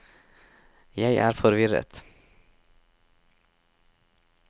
jeg er forvirret